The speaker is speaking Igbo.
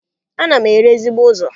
Ana m ere ezigbo ụzọ.